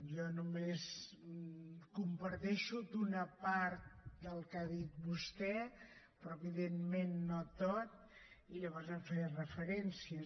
jo només comparteixo una part del que ha dit vostè però evidentment no tot i llavors no hi faré referència